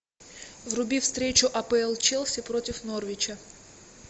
вруби встречу апл челси против норвича